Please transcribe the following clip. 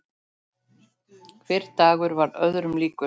Hver dagur varð öðrum líkur.